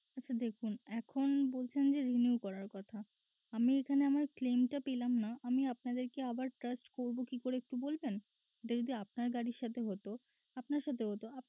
আচ্ছা দেখুন এখন বলছেন যে renew করার কথা আমি এখানে আমার claim টা পেলাম না আমি আপনাদেরকে আবার trust করব কি করে একটু বলবেন এটা যদি আপনার গাড়ির সাথে হতো আপনার সাথে হতো